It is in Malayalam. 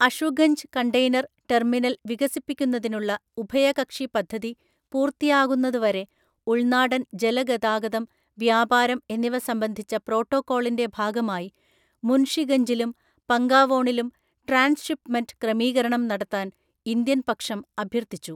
അഷുഗഞ്ച് കണ്ടെയ്നര്‍ ടെർമിനല്‍ വികസിപ്പിക്കുന്നതിനുള്ള ഉഭയകക്ഷി പദ്ധതി പൂർത്തിയാകുന്നതുവരെ ഉള്‍നാടന്‍ ജലഗതാഗതം, വ്യാപാരം എന്നിവ സംബന്ധിച്ച പ്രോട്ടോക്കോളിന്റെ ഭാഗമായി മുൻഷിഗഞ്ചിലും പങ്കാവോണിലും ട്രാന്സ്ഷിപ്പ്മെന്റ് ക്രമീകരണം നടത്താൻ ഇന്ത്യന്‍ പക്ഷം അഭ്യർത്ഥിച്ചു.